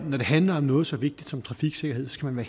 når det handler om noget så vigtigt som trafiksikkerhed skal man